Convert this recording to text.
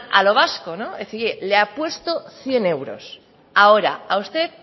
a lo vasco es decir le apuesto cien euros ahora a usted